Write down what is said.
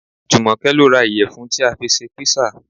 Jùmọ̀kẹ́ lọ ra ìyẹ̀fun tí a fi ṣe písà